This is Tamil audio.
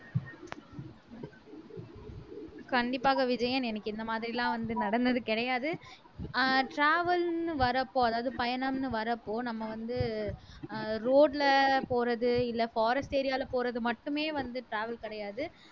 கண்டிப்பாக விஜயன் எனக்கு இந்த மாதிரி எல்லாம் வந்து நடந்தது கிடையாது ஆஹ் travel ன்னு வர்றப்போ அதாவது பயணம்ன்னு வர்றப்போ நம்ம வந்து ஆஹ் road ல போறது இல்லை forest area ல போறது மட்டுமே வந்து travel கிடையாது